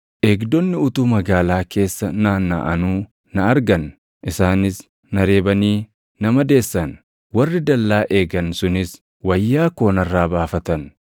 Eegdonni utuu magaalaa keessa naannaʼanuu na argan. Isaanis na reebanii na madeessan; warri dallaa eegan sunis wayyaa koo narraa baafatan!